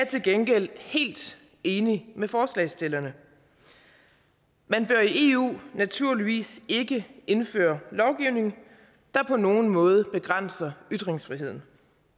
til gengæld helt enig med forslagsstillerne man bør i eu naturligvis ikke indføre lovgivning der på nogen måde begrænser ytringsfriheden